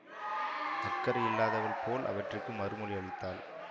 அக்கறை இல்லாதவள் போல் அவற்றிற்கு மறுமொழி அளித்தாள்